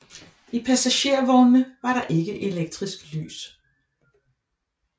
I passagervognene var der ikke elektrisk lys